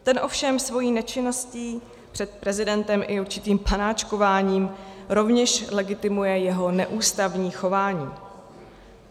Ten ovšem svou nečinností před prezidentem i určitým panáčkováním rovněž legitimuje jeho neústavní chování.